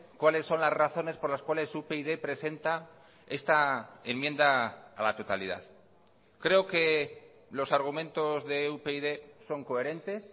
cuales son las razones por las cuales upyd presenta esta enmienda a la totalidad creo que los argumentos de upyd son coherentes